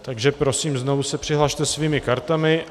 Takže prosím, znovu se přihlaste svými kartami.